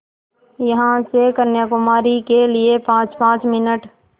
यहाँ से कन्याकुमारी के लिए पाँचपाँच मिनट